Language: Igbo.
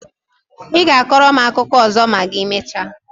I ga-akọrọ m akụkọ ọzọ ma I mechaa?